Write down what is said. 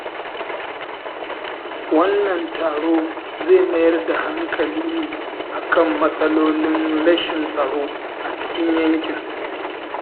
Wannan taro zai mayar da hankali ne a kan matsalolin rashin tsaro a cikin yankin.